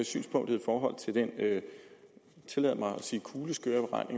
synspunktet i forhold til den tillad mig at sige kuleskøre